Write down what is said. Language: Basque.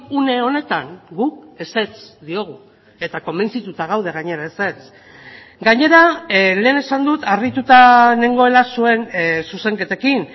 une honetan guk ezetz diogu eta konbentzituta gaude gainera ezetz gainera lehen esan dut harrituta nengoela zuen zuzenketekin